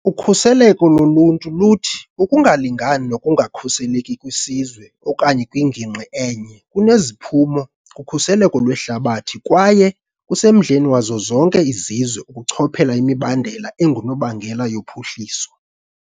Ukhuseleko loluntu luthi ukungalingani nokungakhuseleki kwisizwe okanye kwingingqi enye kuneziphumo kukhuseleko lwehlabathi kwaye kusemdleni wazo zonke izizwe ukuchophela imibandela engunobangela yophuhliso.